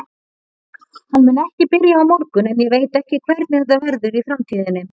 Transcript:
Hann mun ekki byrja á morgun en ég veit ekki hvernig þetta verður í framtíðinni.